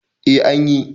eh an yi